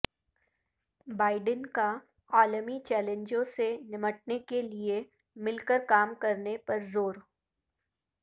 Biden کا عالمی چیلنجوں سے نمٹنے کے لیے مل کر کام کرنے پر زور